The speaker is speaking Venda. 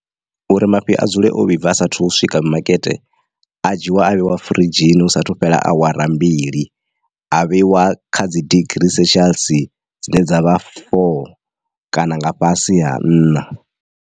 Uri mafhi a dzule o vhibva asathu swika mimakete a dzhiiwa a vheiwa firidzhini hu sathu fhela awara mbili a vheiwa kha dzi degree celcius dzine dza vha four kana nga fhasi ha nṋa.